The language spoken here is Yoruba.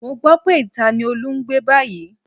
Mo gbọ́ pé ìta ni Olú ń gbé báyìí